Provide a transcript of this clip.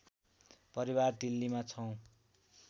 परिवार दिल्लीमा छौँ